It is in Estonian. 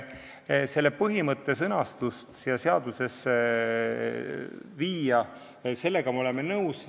Selle põhimõtte sõnastuse seadusesse viimisega me oleme nõus.